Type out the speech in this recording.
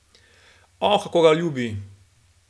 O, kako ga ljubi!